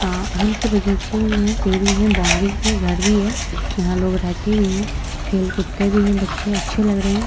अ आम के बगीचे भी है पेड़ भी है। बाउंड्री भी घर भी है। यहाँ लोग रहते भी है। खेल कूदते भी हैं बच्चे अच्छे लग रहे हैं।